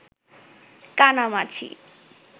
কানামাছি